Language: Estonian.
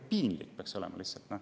Piinlik peaks olema!